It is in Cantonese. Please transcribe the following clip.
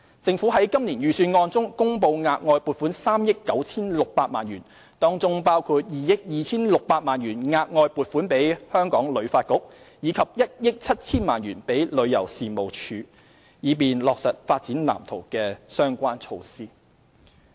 政府在今年預算案中公布額外撥款3億 9,600 萬元，當中包括2億 2,600 萬元額外撥款給旅發局，以及1億 7,000 萬元予旅遊事務署，以便落實《發展藍圖》的相關措施。